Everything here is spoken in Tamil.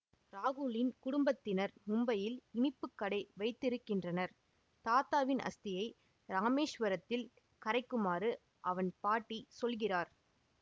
ராகுலின் குடும்பத்தினர் மும்பையில் இனிப்பு கடை வைத்திருக்கின்றனர் தாத்தாவின் அஸ்தியை ராமேஸ்வரத்தில் கரைக்குமாறு அவன் பாட்டி சொல்கிறார்